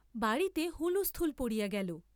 বাড়ীতে হুলস্থূল পড়িয়া গেল।